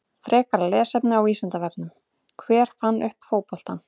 Frekara lesefni á Vísindavefnum: Hver fann upp fótboltann?